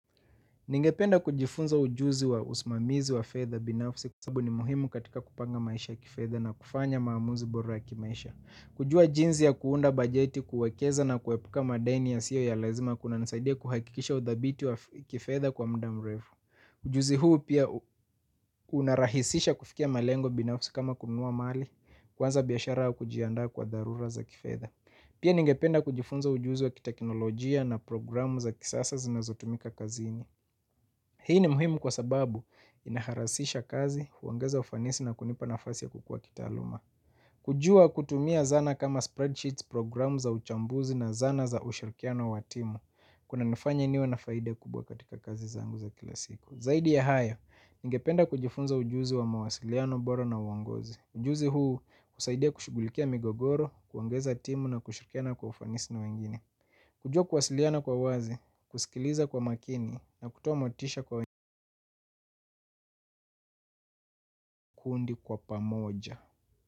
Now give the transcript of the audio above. Ningependa kujifunza ujuzi wa usimamizi wa fedha binafsi kwasabu ni muhimu katika kupanga maisha kifedha na kufanya maamuzi bora ya kimaisha. Kujua jinzi ya kuunda bajeti kuwekeza na kuwepuka madeni ya siyo ya lazima kuna nasaidia kuhakikisha udhabiti wa kifetha kwa mdamrefu. Ujuzi huu pia unarahisisha kufikia malengo binafsi kama kununua mali kuanza biashara au kujiandaa kwa dharura za kifetha. Pia ningependa kujifunza ujuzi wa kitekinolojia na programu za kisasa zinazotumika kazini. Hii ni muhimu kwa sababu inaharasisha kazi, uongeza ufanisi na kunipa nafasi ya kukua kita aluma. Kujua kutumia zana kama spreadsheets, programu za uchambuzi na zana za ushirikiano wa timu. Kuna nifanya niwa na faida kubwa katika kazi zangu za kila siku. Zaidi ya haya, ningependa kujifunza ujuzi wa mawasiliano bora na uongozi. Ujuzi huu kusaidia kushugulikia migogoro, kuongeza timu na kushirikiana kwa ufanisi na wengine. Kujua kuwasiliana kwa uwazi, kusikiliza kwa makini na kutuomotisha kwa kundi kwa pamoja.